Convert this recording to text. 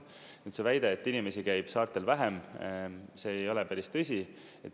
Nüüd see väide, et inimesi käib saartel vähem, see ei ole päris tõsi.